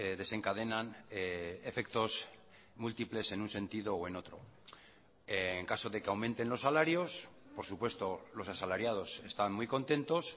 desencadenan efectos múltiples en un sentido o en otro en caso de que aumenten los salarios por supuesto los asalariados están muy contentos